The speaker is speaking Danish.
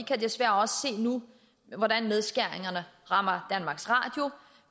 desværre se nu hvordan nedskæringerne rammer danmarks radio